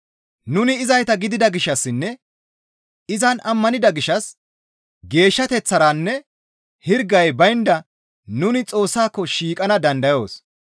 Nuni izayta gidida gishshassinne izan ammanida gishshas geeshshateththaranne hirgay baynda nuni Xoossako shiiqana dandayoos.